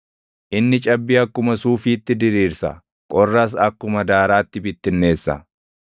Inni cabbii akkuma suufiitti diriirsa; qorras akkuma daaraatti bittinneessa.